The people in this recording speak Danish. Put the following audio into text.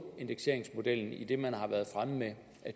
indekseringsmodellen i det man har været fremme med